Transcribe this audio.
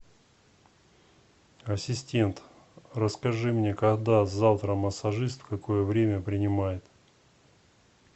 ассистент расскажи мне когда завтра массажист в какое время принимает